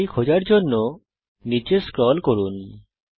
π খোঁজার জন্যে নিচে স্ক্রল করুন